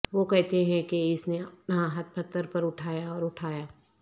وہ کہتے ہیں کہ اس نے اپنا ہاتھ پتھر پر اٹھایا اور اٹھایا